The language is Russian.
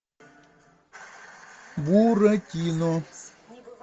буратино